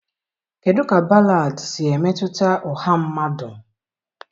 kedụ ka ballads si emetụta ọha mmadụ?